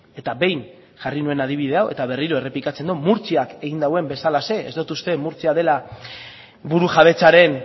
eta behin jarri nuen adibide hau eta berriro errepikatzen dut murtziak egin duen bezalaxe ez dut uste murtzia dela burujabetzaren